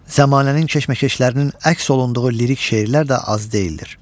Zamanənin keşməkeşlərinin əks olunduğu lirik şeirlər də az deyildir.